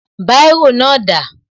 Báírò náà dà?